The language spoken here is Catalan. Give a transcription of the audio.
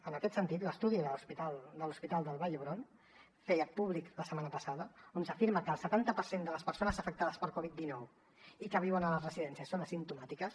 en aquest sentit l’estudi de l’hospital de la vall d’hebron que es feia públic la setmana passada afirma que el setanta per cent de les persones afectades per covid dinou i que viuen a les residències són asimptomàtiques